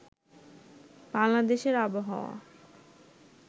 বাংলাদেশের আবহাওয়া